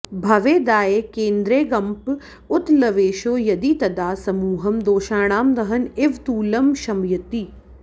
भवेदाये केन्द्रेऽङ्गप उत लवेशो यदि तदा समूहं दोषाणां दहन इव तूलं शमयति